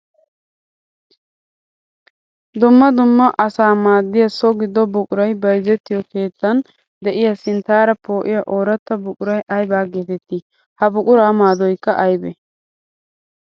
Dumma dumma asaa maaddiya so gido buquray bayzzettiyo keettan de'iya sinttara poo'iya ooratta buquray aybba geetetti? Ha buqura maadoykka aybbe?